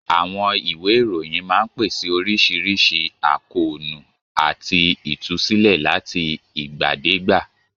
Àwọn ìwé ìròyìn máa ń pèsè oríṣiríṣi àkóónú àti ìtúsílẹ̀ láti ìgbàdégbà.